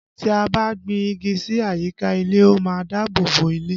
Tí a bá gbin igi sí àyíká ilé, ó má ń dáàbò bo ilé